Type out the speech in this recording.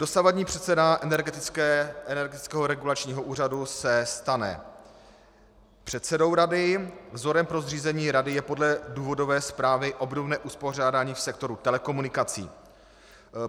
Dosavadní předseda Energetického regulačního úřadu se stane předsedou rady, vzorem pro zřízení rady je podle důvodové zprávy obdobné uspořádání v sektoru telekomunikací.